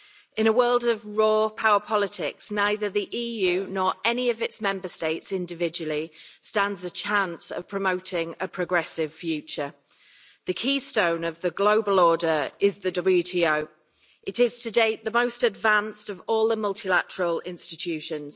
In a world of raw power politics, neither the EU nor any of its Member States, individually, stands a chance of promoting a progressive future. The keystone of the global order is the WTO. It is to date the most advanced of all the multilateral institutions.